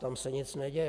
Tam se nic neděje.